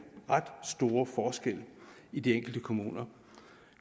ret store forskelle i de enkelte kommuner